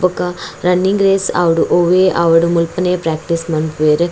ಬೊಕ running race ಆವಡ್ ಒವ್ವೇ ಆವಡ್ ಮುಲ್ಪನೆ ಪ್ರಾಕ್ಟೀಸ್ ಮನ್ಪುವೆರ್.